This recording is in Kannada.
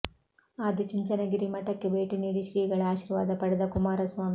ಆದಿ ಚುಂಚನಗಿರಿ ಮಠಕ್ಕೆ ಭೇಟಿ ನೀಡಿ ಶ್ರೀಗಳ ಆಶೀರ್ವಾದ ಪಡೆದ ಕುಮಾರಸ್ವಾಮಿ